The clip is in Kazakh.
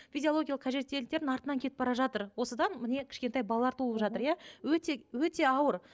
физиологиялық қажеттіліктерінің артынан кетіп бара жатыр осыдан міне кішкентай балалар туылып жатыр иә өте өте ауыр